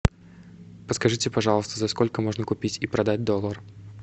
подскажите пожалуйста за сколько можно купить и продать доллар